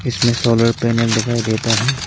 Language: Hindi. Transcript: इसमें सोलर पैनल दिखाई देता हैं।